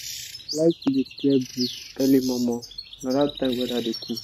like to dey clear bush early momo na that time weather dey cool